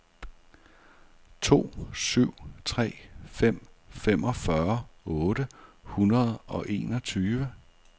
to syv tre fem femogfyrre otte hundrede og enogtyve